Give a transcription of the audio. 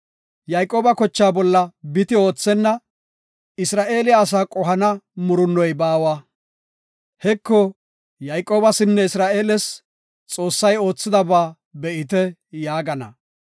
Yayqooba kochaa bolla biti oothenna; Isra7eele asaa qohana murunnoy baawa. Heko, Yayqoobasinne Isra7eeles ‘Xoossay oothidaba be7ite’ yaagana.